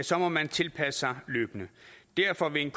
sig må man tilpasse sig løbende derfor vil en